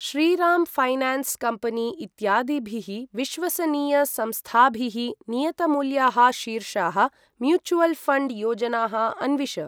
Shriram finance company इत्यादिभिः विश्वसनीयसंस्थाभिः नियतमूल्याः शीर्षाः म्यूचुवल् फण्ड् योजनाः अन्विष।